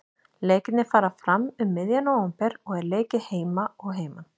Leikirnir fara fram um miðjan nóvember og er leikið heima og heiman.